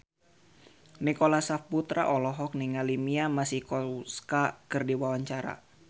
Nicholas Saputra olohok ningali Mia Masikowska keur diwawancara